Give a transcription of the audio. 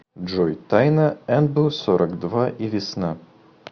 джой тайна энбу сорок два и весна